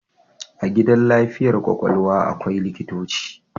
A gidan lafiyar kwakwalwa akwai likitoci